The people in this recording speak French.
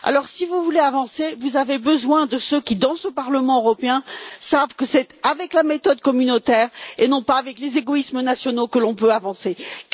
Si vous voulez avancer, vous avez besoin de ceux qui, dans ce Parlement européen, savent que c'est avec la méthode communautaire et non pas avec les égoïsmes nationaux qu'on peut le faire.